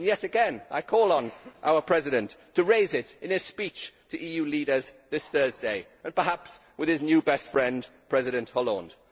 Yet again I call on our President to raise it in his speech to EU leaders this Thursday, and perhaps with his new best friend, President Hollande.